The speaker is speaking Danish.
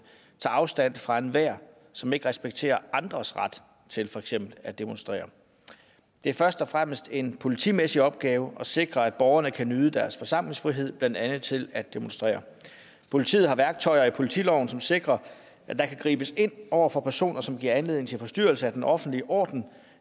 tager afstand fra enhver som ikke respekterer andres ret til for eksempel at demonstrere det er først og fremmest en politimæssig opgave at sikre at borgerne kan nyde deres forsamlingsfrihed blandt andet i forhold til at demonstrere politiet har værktøjer i politiloven som sikrer at der kan gribes ind over for personer som giver anledning til forstyrrelse af den offentlige orden